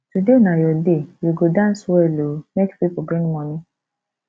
today na your day you go dance well ooo make people bring money